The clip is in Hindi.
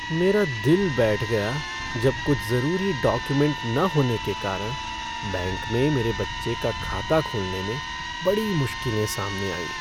मेरा दिल बैठ गया जब कुछ जरूरी डॉक्युमेंट न होने के कारण बैंक में मेरे बच्चे का खाता खोलने में बड़ी मुश्किलें सामने आईं।